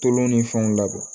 Tolon ni fɛnw labɔ